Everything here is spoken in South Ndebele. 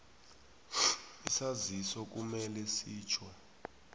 isaziso kumele sitjho